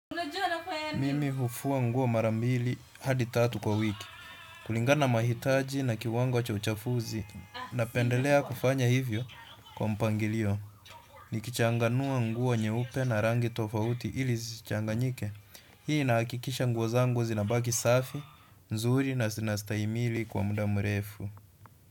Mimi hufua nguo mara mbili hadi tatu kwa wiki kulingana na mahitaji na kiwango cha uchafuzi napendelea kufanya hivyo kwa mpangilio. Nikichanganua nguo nyeupe na rangi tofauti ili zisichanganyike. Hii inahakikisha nguo zangu zinabaki safi, nzuri na zinastahimili kwa muda mrefu.